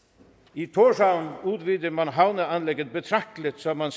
i tórshavn udvider man havneanlægget betragteligt så man